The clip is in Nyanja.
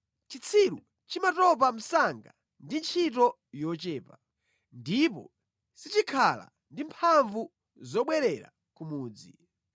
Chitsiru chimatopa msanga ndi ntchito yochepa; ndipo sichikhala ndi mphamvu zobwererera ku mudzi.